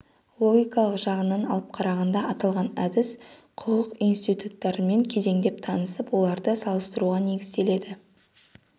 логикалық жағынан алып қарағанда аталған әдіс құқық институттарымен кезеңдеп танысып оларды салыстыруға негізделеді